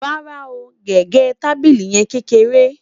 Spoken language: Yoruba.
rárá o, gẹgẹ tábìlì yen kékeré